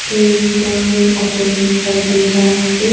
एक होटल दिखाई दे रहा है.